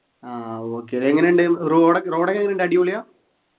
ആഹ് okay അതെങ്ങനെയുണ്ട് road road എങ്ങനെയുണ്ട് അടിപൊളിയാ